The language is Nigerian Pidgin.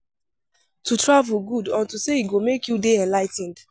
To travel good unto say e go make you dey enligh ten ed